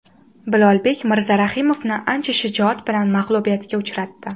Bilolbek Mirzarahimovni ancha shijoat bilan mag‘lubiyatga uchratdi.